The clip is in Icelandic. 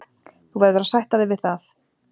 Þú verður að sætta þig við það.